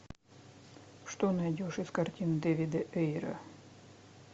что найдешь из картин дэвида эйра